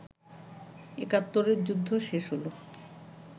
একাত্তরের যুদ্ধ শেষ হল